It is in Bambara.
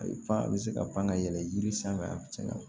A ye fan bɛ se ka pan ka yɛlɛ yiri sanfɛ a bi cɛn